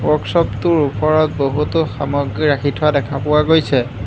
ৱৰ্কচপটোৰ ওপৰত বহুতো সামগ্ৰী ৰাখি থোৱা দেখা পোৱা গৈছে।